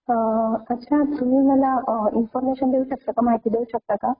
अच्छा तुम्ही मला इन्फॉर्मशन देऊ शकता काय? महती देऊ शकता काय ?